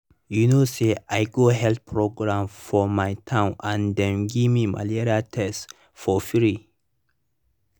you know say i go health program for my town and dem gimme malaria test for free.